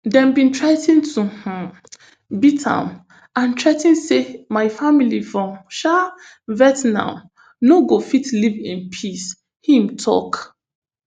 dem bin threa ten to um beat me and threa ten say my family for um vietnam no go fit live in peace im tok